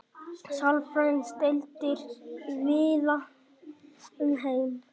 sálfræðideildir víða um heim